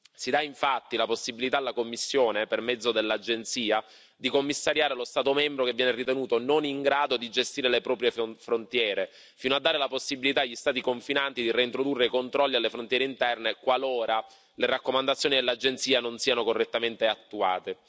Si dà infatti la possibilità alla Commissione, per mezzo dell'Agenzia, di commissariare lo Stato membro che viene ritenuto non in grado di gestire le proprie frontiere, fino a dare la possibilità agli Stati confinanti di reintrodurre i controlli alle frontiere interne, qualora le raccomandazioni dell'Agenzia non siano correttamente attuate.